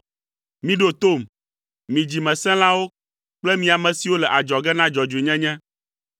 Miɖo tom, mi dzimesẽlawo kple mi, ame siwo le adzɔge na dzɔdzɔenyenye.